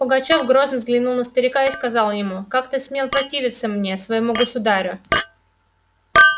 пугачёв грозно взглянул на старика и сказал ему как ты смел противиться мне своему государю